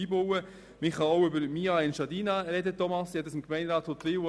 Man kann auch über «mia Engiadina» sprechen, Thomas Knutti.